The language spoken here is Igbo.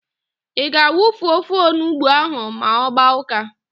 Ị ga-awufu ofe onugbo ahụ ma ọ gbaa ụ́ká?